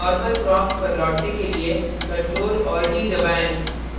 normal prompt पर लौटने के लिए ctrl + d दबाएं